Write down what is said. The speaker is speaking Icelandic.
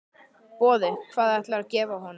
Boði: Hvað ætlarðu að gefa honum?